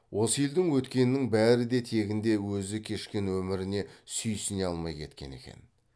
осы елдің өткенінің бәрі де тегінде өзі кешкен өміріне сүйсіне алмай кеткен екен